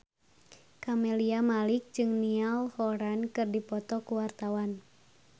Camelia Malik jeung Niall Horran keur dipoto ku wartawan